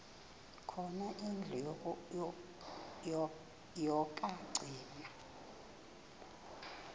khona indlu yokagcina